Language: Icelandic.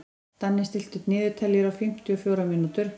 Danni, stilltu niðurteljara á fimmtíu og fjórar mínútur.